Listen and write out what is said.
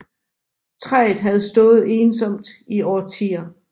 Træet havde stået ensomt i årtier